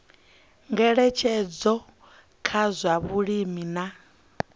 ngeletshedzo kha zwa vhulimi na